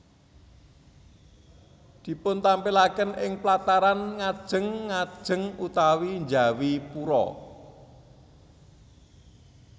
Dipuntampilaken ing plataran ngajeng ngajeng utawi njawi pura